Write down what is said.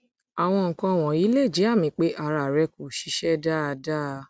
àwọn nǹkan wọnyí lè jẹ àmì pé ara rẹ kò ṣiṣẹ dáadáa